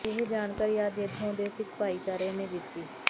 ਇਹ ਜਾਣਕਾਰੀ ਅੱਜ ਇੱਥੋਂ ਦੇ ਸਿੱਖ ਭਾਈਚਾਰੇ ਨੇ ਦਿੱਤੀ